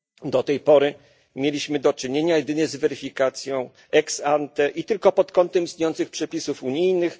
Do tej pory mieliśmy do czynienia jedynie z weryfikacją ex ante i tylko pod kątem istniejących przepisów unijnych